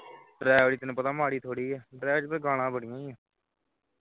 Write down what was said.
ਡਰੈਵਰੀ ਤੈਨੂੰ ਪਤਾ ਹੈ ਮਾੜੀ ਥੋਡੀ ਐ ਡਰਾਇਵਰੀ ਦੇ ਵਿਚ ਗੱਲਾਂ ਬੜੀਆਂ ਨੇ